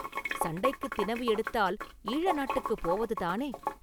சண்டைக்குத் தினவு எடுத்தால் ஈழநாட்டுக்குப் போவதுதானே?